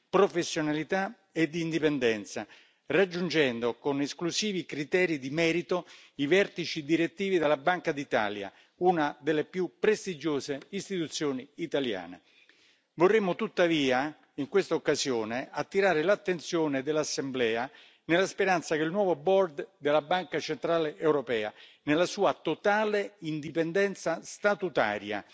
professionalità ed indipendenza, raggiungendo con esclusivi criteri di merito i vertici direttivi dalla Banca d'Italia, una delle più prestigiose istituzioni italiane. Vorremmo, tuttavia, in questa occasione attirare l'attenzione dell'Assemblea nella speranza che il nuovo Board della Banca centrale europea, nella sua totale indipendenza statutaria,